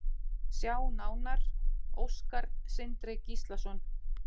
Sjá nánar: Óskar Sindri Gíslason.